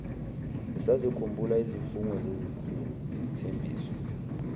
usazikhumbula izifungo nezithembiso